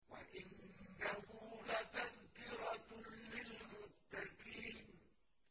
وَإِنَّهُ لَتَذْكِرَةٌ لِّلْمُتَّقِينَ